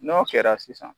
N'o kɛra sisan